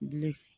Bilen